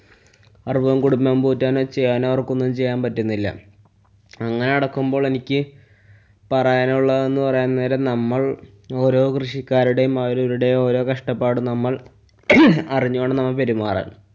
കുടുംബം പോറ്റാനായി ചെയ്യാനായി അവര്‍ക്കൊന്നും ചെയ്യാന്‍ പറ്റുന്നില്ല. അങ്ങനെ കെടക്കുമ്പോള്‍ എനിക്ക് പറയാനുള്ളതെന്ന് പറയാന്‍ നേരം നമ്മള്‍ ഓരോ കൃഷിക്കാരുടെയും അവരവരുടെയും ഓരോ കഷ്ട്ടപ്പാടും നമ്മള്‍ അറിഞ്ഞുകൊണ്ട് നമ്മള്‍ പെരുമാറാന്‍.